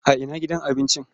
A ina gina gidan abincin?